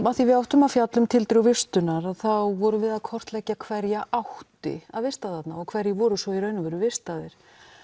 því við áttum að fjalla um tildrög vistunar þá vorum við að kortleggja hverja átti að vista þarna og hverjir voru svo í raun og veru vistaðir